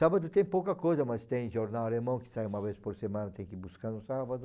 Sábado tem pouca coisa, mas tem jornal alemão que sai uma vez por semana, tem que ir buscando sábado.